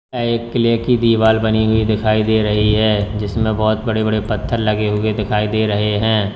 यह एक किले की दीवाल बनी हुई दिखाई दे रही है जिसमें बोहोत बड़े-बड़े पत्थर लगे हुए दिखाई दे रहे हैं।